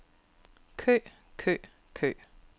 kø kø kø